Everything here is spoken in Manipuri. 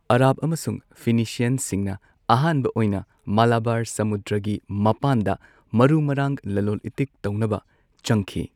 ꯑꯔꯕ ꯑꯃꯁꯨꯡ ꯐꯣꯏꯅꯤꯁꯤꯌꯟꯁꯤꯡꯅ ꯑꯍꯥꯟꯕ ꯑꯣꯏꯅ ꯃꯂꯕꯥꯔ ꯁꯃꯨꯗ꯭ꯔꯒꯤ ꯃꯄꯥꯟꯗ ꯃꯔꯨ ꯃꯔꯥꯡ ꯂꯂꯣꯟ ꯏꯇꯤꯛ ꯇꯧꯅꯕ ꯆꯪꯈꯤ꯫